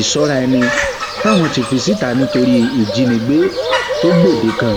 ìsọrèẹni táwọn ń fi síta nítorí ìjínigbé tó gbòde kan